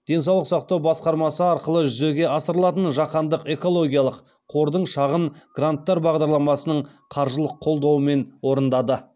денсаулық сақтау басқармасы арқылы жүзеге асырылатын жаһандық экологиялық қордың шағын гранттар бағдарламасының қаржылық қолдауымен орындады